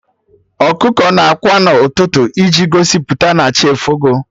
Ọkụkọ na ákwà n'ụtụtụ iji gosipụta na chi efogo